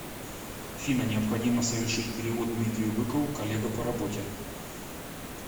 афина необходимо совершить перевод дмитрию быкову коллега по работе